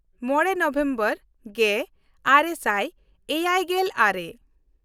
ᱢᱚᱬᱮ ᱱᱚᱵᱷᱮᱢᱵᱚᱨ ᱜᱮᱼᱟᱨᱮ ᱥᱟᱭ ᱮᱭᱟᱭᱜᱮᱞ ᱟᱨᱮ